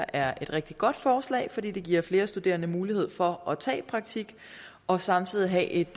er et rigtig godt forslag fordi det giver flere studerende mulighed for at tage praktik og samtidig have et